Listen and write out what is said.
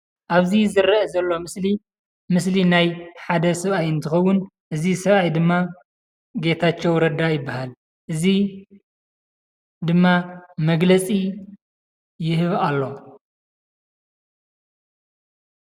እብዚ ዝረአ ዘሎ ምስሊ ምስሊ ናይ ሓደ ሰብአይ እንትኸውን እዚ ሰብአይ ድማ ጌታቸው ረዳ ይበሃል። እዚ ድማ መግለፂ ይህብ አሎ።